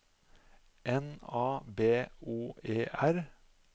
N A B O E R